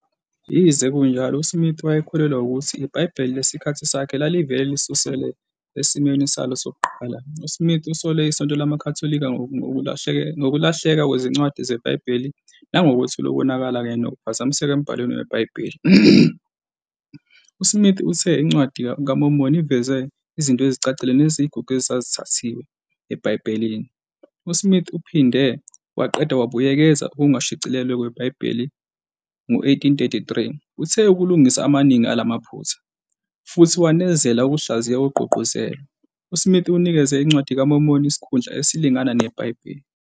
Yize kunjalo, uSmith wayekholelwa ukuthi iBhayibheli lesikhathi sakhe lalivele lisusele esimweni salo sokuqala. USmith usole iSonto LamaKhatholika ngokulahleka kwezincwadi zebhayibheli nangokwethula ukonakala kanye nokuphazamiseka embhalweni weBhayibheli. USmith uthe iNcwadi kaMormoni iveze "izinto ezicacile neziyigugu ezazithathiwe" eBhayibhelini. USmith uphinde waqeda ukubuyekeza okungashicilelwe kweBhayibheli ngo-1833, athe kulungisa amaningi ala maphutha, futhi wanezela ukuhlaziya okugqugquzelwe. USmith unikeze iNcwadi kaMormoni isikhundla esilingana neBhayibheli.